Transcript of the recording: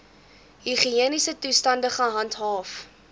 higiëniese toestande gehandhaaf